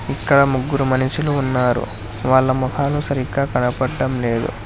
ఇక్కడ ముగ్గురు మనుషులు ఉన్నారు వాళ్ళ మోకాలు సరిగా కనపడంలేదు.